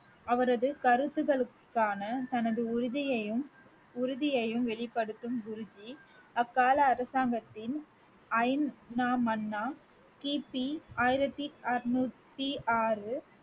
அவரது கருத்துக்களுக்கான தனது உறுதியையும் உறுதியையும் வெளிப்படுத்தும் குருஜி அக்கால அரசாங்கத்தின் ஐந்தாம் மன்னர் கி பி ஆயிரத்தி அறுநூத்தி ஆறு